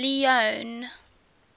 leone